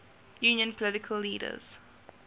union political leaders